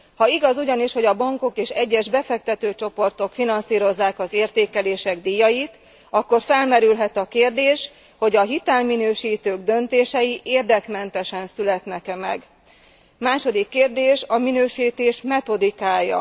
Ha igaz ugyanis, hogy a bankok és egyes befektetőcsoportok finanszírozzák az értékelések díjait, akkor felmerülhet a kérdés, hogy a hitelminősítők döntései érdekmentesen születnek e meg. Második kérdés a minősítés metodikája.